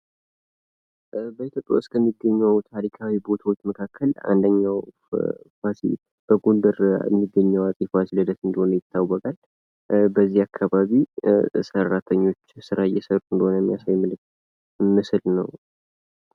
በኢትዮጵያ ውስጥ ከሚገኙ ታሪካዊ ቦታዎች መካከል አንደኛው በጎደር የሚገኘው አፄ ፋሲለደስ እንደሆነ ይታወቃል። በዚህ አካባቢ ሰራተኞች ስራ እየሰሩ እንደሆነ የሚያሳይ ምስል ነው።